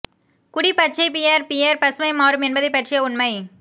குடி பச்சை beer beer பசுமை மாறும் என்பதைப் பற்றிய உண்மை